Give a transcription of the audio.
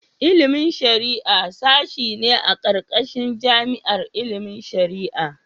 Ilimin shari'a sashe ne a ƙarƙashin jami'ar ilimin shari'a.